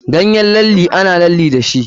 Ganyen lalle ana lalle dashi.